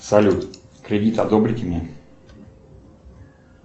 салют кредит одобрите мне